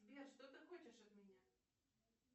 сбер что ты хочешь от меня